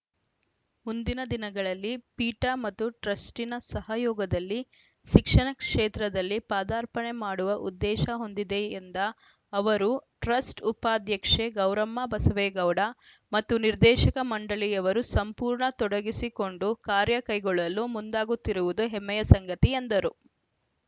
ಮುಂದಿನ ದಿನಗಳಲ್ಲಿ ಪೀಠ ಮತ್ತು ಟ್ರಸ್ಟಿನ ಸಹಯೋಗದಲ್ಲಿ ಶಿಕ್ಷಣ ಕ್ಷೇತ್ರದಲ್ಲಿ ಪಾದಾರ್ಪಣೆ ಮಾಡುವ ಉದ್ದೇಶ ಹೊಂದಿದೆ ಎಂದ ಅವರು ಟ್ರಸ್ಟ್‌ ಉಪಾಧ್ಯಕ್ಷೆ ಗೌರಮ್ಮ ಬಸವೇಗೌಡ ಮತ್ತು ನಿರ್ದೇಶಕ ಮಂಡಳಿಯವರು ಸಂಪೂರ್ಣ ತೊಡಗಿಸಿಕೊಂಡು ಕಾರ್ಯ ಕೈಗೊಳ್ಳಲು ಮುಂದಾಗುತ್ತಿರುವುದು ಹೆಮ್ಮೆಯ ಸಂಗತಿ ಎಂದರು